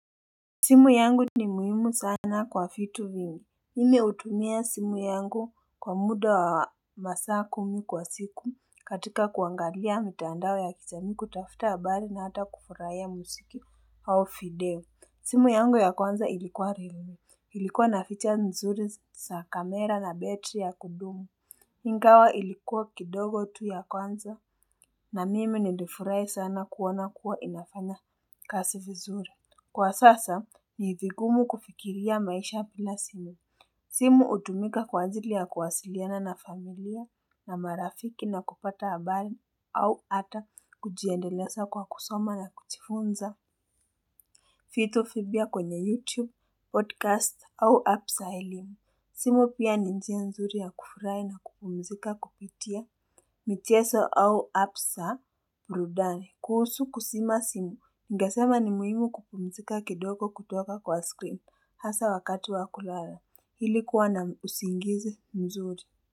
Simu yangu ni muhimu sana kwa fitu vingi Mimi hutumia simu yangu kwa muda wa masaa kumi kwa siku katika kuangalia mtaandao ya kijamii kutafuta habarii na hata kufuraya musiki Awo fideo simu yangu ya kwanza ilikuwa rilu Ilikuwa naficha mzuri sa kamera na battery ya kudumu Ingawa ilikuwa kidogo tu ya kwanza na mimi nindifurai sana kuwona kuwa inafana kazi vizuri Kwa sasa ni hivigumu kufikiria maisha bila simu. Simu hutumika kwa ajili ya kuwasiliana na familia na marafiki na kupata habari au ata kujiendelesa kwa kusoma na kuchifunza. Vitu vipya kwenye YouTube, podcast au app za simu simu pia ni njia nzuri ya kufurai na kupumzika kupitia michezo au app za burudani. Kuhusu kuzima simu. Ningesema ni muhimu kupumzika kidoko kutoka kwa screen. Hasa wakati wa kulala hili kuwa na usingize mzuri.